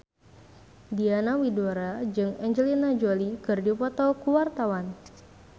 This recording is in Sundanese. Diana Widoera jeung Angelina Jolie keur dipoto ku wartawan